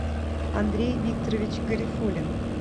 андрей викторович гарифуллин